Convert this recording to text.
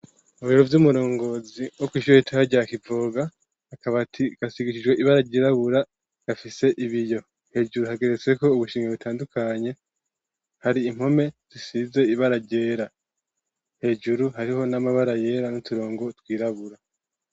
Mu biro vy'umurongozi, wo kw'ishure ritoya rya Kivoga, akabati gasigishijwe ibara ryirabura, gafise ibiyo, hejuru, hageretsweko ubushimwe butandukanye, hari impome zisize ibara ryera, hejuru, hariho n'amabara yera, n'uturongo twirabura.